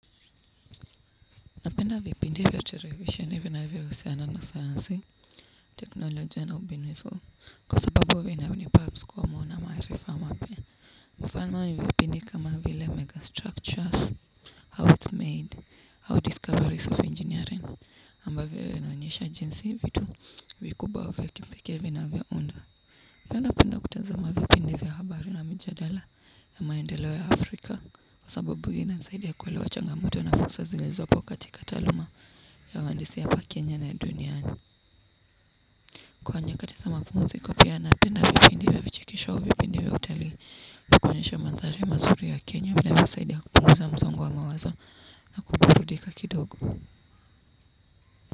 Napenda vipindi vya televisheni vinavyoahusiana na science, technology na ubinifu. Kwa sababu vya inabini perhaps kwa mwona maarifa mapya. Mfano ni vipindi kama vile megastructures, how it's made, how discoveries of engineering ambavyo inaonyesha jinsi vitu vikuba vya kipekee vinavyounda pia napenda kutazama vipindi vya habari na mijadala ya maendeleo ya Afrika kwa sababu inansaidia kuelewa changamoto na fursa zilizopo katika taaluma ya wandisi ya hapa Kenya na duniani. Kwa nyakati za mapumziko pia napenda vipindi vya vichekisho vipindi vya utali ama kuonyesha mandhari mazuri ya Kenya vile inasaidia kupunguza msongo wa mawazo na kuburudika kidogo.